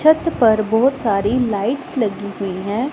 छत पर बहुत सारी लाइट्स लगी हुई हैं।